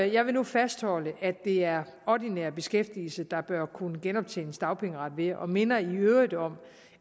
jeg vil nu fastholde at det er ordinær beskæftigelse der bør kunne genoptjenes dagpengeret ved og minder i øvrigt om